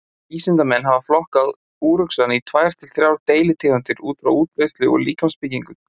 Vísindamenn hafa flokkað úruxann í tvær til þrjár deilitegundir út frá útbreiðslu og líkamsbyggingu.